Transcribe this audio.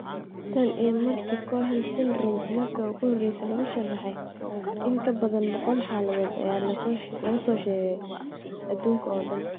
Tan iyo markii Cohen syndromke markii ugu horreysay lagu sharraxay, in ka badan boqol xaaladood ayaa laga soo sheegay adduunka oo dhan.